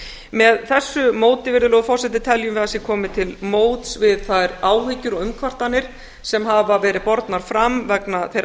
með þessu móti virðulegur forseti teljum við að sé komið til móts við þær áhyggjur og umkvartanir sem hafa verið bornar fram vegna þeirra